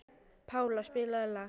Pála, spilaðu lag.